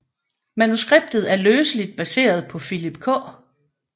Manuskriptet er løseligt baseret på Philip K